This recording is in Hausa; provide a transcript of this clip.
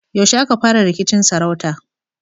Yaushe aka fara rikicin sarauta?